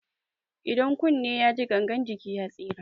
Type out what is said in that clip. Idan kunne yaji gangan jiki ya tsira.